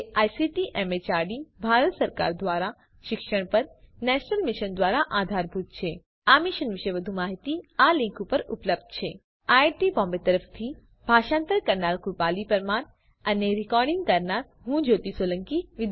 જે ICT MHRD Bharat સરકાર દ્વારા શિક્ષણ પર નેશનલ મિશન દ્વારા આધારભૂત છે આ મિશન વિશે વધુ માહીતી આ લીંક ઉપર ઉપલબ્ધ છે spoken hyphen tutorial dot org slash NMEICT hyphen intro IIT Bombay તરફથી ભાષાંતર કરનાર હું કૃપાલી પરમાર વિદાય લઉં છું